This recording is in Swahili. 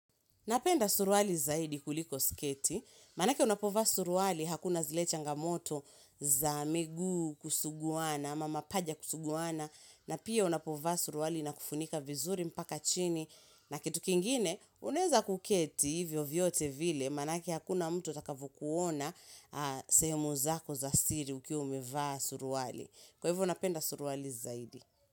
Napenda suruali zaidi kuliko sketi, maanake unapovaa suruali hakuna zile changamoto za miguu kusuguwana ama mapaja kusuguwana na pia unapova suruali inakufunika vizuri mpaka chini na kitu kingine unaweza kuketi hivyo vyote vile manake hakuna mtu atakavu kuona sehemu zako za siri ukiwa umevaa suruali. Kwa hivyo napenda suruali zaidi.